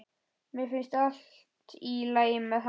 Mér finnst allt í lagi með hann.